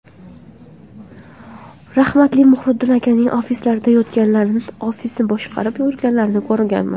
Rahmatli Muhriddin akaning ofislarida yotganlarini, ofisni boshqarib yurganlarini ko‘rganman.